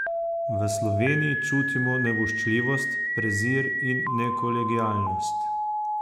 V Sloveniji čutimo nevoščljivost, prezir in nekolegialnost.